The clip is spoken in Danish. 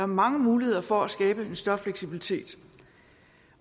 mange muligheder for at skabe større fleksibilitet